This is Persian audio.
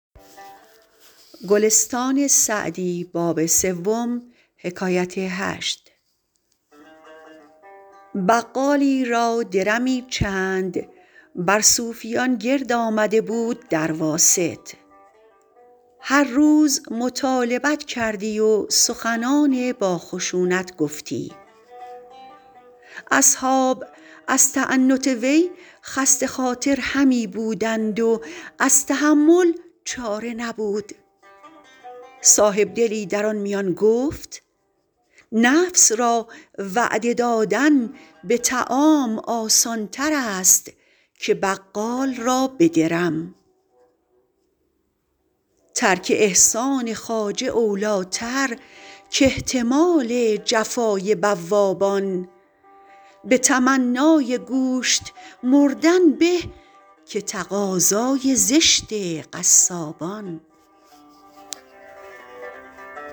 بقالی را درمی چند بر صوفیان گرد آمده بود در واسط هر روز مطالبت کردی و سخنان با خشونت گفتی اصحاب از تعنت وی خسته خاطر همی بودند و از تحمل چاره نبود صاحبدلی در آن میان گفت نفس را وعده دادن به طعام آسان تر است که بقال را به درم ترک احسان خواجه اولی ٰتر کاحتمال جفای بوابان به تمنای گوشت مردن به که تقاضای زشت قصابان